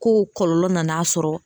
K'o kɔlɔlɔ nan'a sɔrɔ